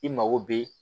I mago bɛ